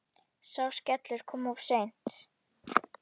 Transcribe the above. Sá skellur kom of seint.